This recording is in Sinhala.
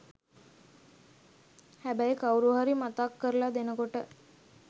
හැබැයි කවුරුහරි මතක් කරල දෙනකොට